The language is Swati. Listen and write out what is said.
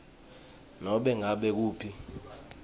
nobe ngabe ngukuphi